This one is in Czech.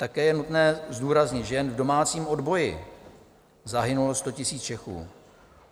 Také je nutné zdůraznit, že jen v domácím odboji zahynulo 100 000 Čechů.